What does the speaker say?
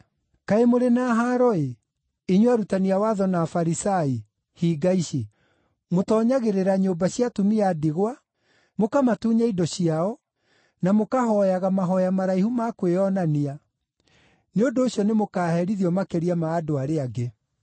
“Kaĩ mũrĩ na haaro-ĩ, inyuĩ arutani a watho na Afarisai, hinga ici! Mũtoonyagĩrĩra nyũmba cia atumia a ndigwa, mũkamatunya indo ciao, na mũkahooyaga mahooya maraihu ma kwĩonania. Nĩ ũndũ ũcio nĩmũkaherithio makĩria ma andũ arĩa angĩ.)